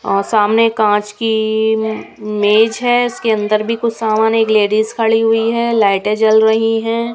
और सामने कांच की मेज़ है उसके अंदर भी कुछ समान है एक लेडीज़ खड़ी हुई है लाइटें जल रही है।